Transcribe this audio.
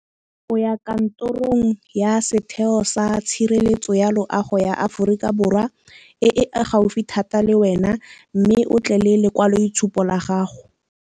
Go ya kantorong ya setheo sa tshireletso ya loago ya Aforika Borwa, e e gaufi thata le wena mme o tle le lekwalo itshupo la gago.